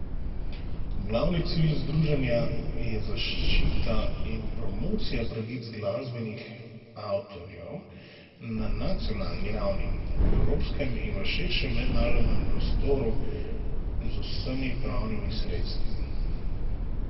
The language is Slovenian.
Glavni cilj združenja je zaščita in promocija pravic glasbenih avtorjev na nacionalni ravni, v evropskem in v širšem mednarodnem prostoru z vsemi pravnimi sredstvi.